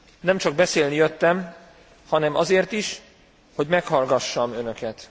Nem csak beszélni jöttem, hanem azért is, hogy meghallgassam önöket.